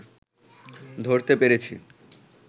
ধরতে পেরেছি